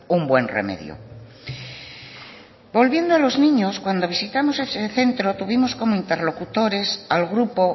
un buen remedio volviendo a los niños cuando visitamos ese centro tuvimos como interlocutores al grupo